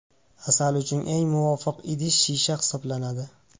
Asal uchun eng muvofiq idish shisha hisoblanadi.